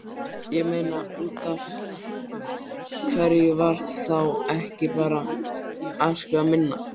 Ég meina, útaf hverju var þá ekki bara afskrifað minna?